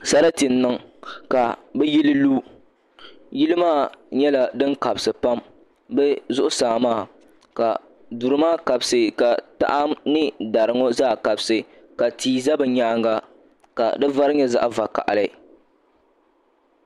Sarati n niŋ ka bi yili lu yili maa nyɛla din kabisi pam bi zuɣusaa maa ka duri maa kabisi ka taha ni dari ŋɔ zaa kabisi ka tia bɛ di nyaanga ka di vari nyɛ zaɣ vakaɣali